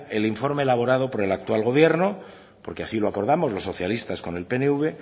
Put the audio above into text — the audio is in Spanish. el informe elaborado por el actual gobierno porque así lo acordamos los socialistas con el pnv